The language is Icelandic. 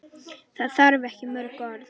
Það þarf ekki mörg orð.